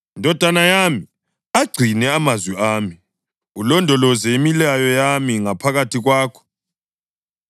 Ndodana yami, agcine amazwi ami ulondoloze imilayo yami ngaphakathi kwakho.